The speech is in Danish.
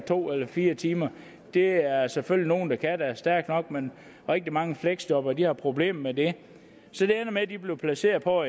to eller fire timer det er der selvfølgelig nogle der er stærke nok men rigtig mange fleksjobbere har problemer med det så det ender med at de bliver placeret på